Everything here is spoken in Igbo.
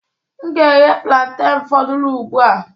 M ga-eghe plaintain foduru ugbu a.